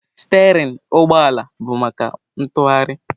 Stereịn ụgbọ ala bụ maka ntughari.